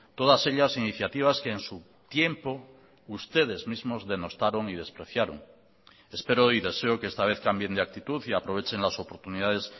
todas ellas iniciativas que en su tiempo ustedes mismos denostaron y despreciaron espero y deseo que esta vez cambien de actitud y aprovechen las oportunidades